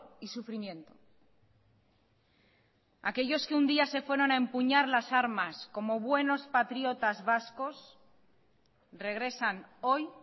y sufrimiento aquellos que un día se fueron a empuñar las armas como buenos patriotas vascos regresan hoy